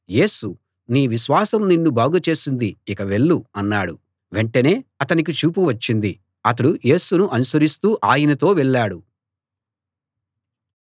యేసు నీ విశ్వాసం నిన్ను బాగుచేసింది ఇక వెళ్ళు అన్నాడు వెంటనే అతనికి చూపు వచ్చింది అతడు యేసును అనుసరిస్తూ ఆయనతో వెళ్ళాడు